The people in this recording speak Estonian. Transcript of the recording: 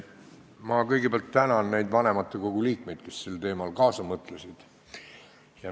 Ma kõigepealt tänan neid vanematekogu liikmeid, kes sel teemal kaasa mõtlesid.